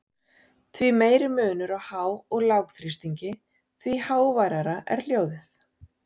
Því meiri munur á há- og lágþrýstingi, því háværara er hljóðið.